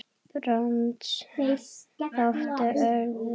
Brands þáttur örva